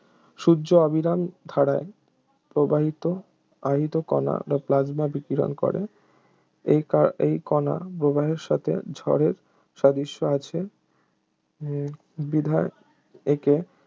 সূর্য অবিরাম ধারায় প্রবাহিত আহিত কণা প্লাজমা বিকিরণ করে এই ক এই কণা প্রবাহের সাথে ঝড়ের সাদৃশ্য আছে বিধায় একে